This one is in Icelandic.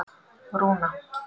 Rúna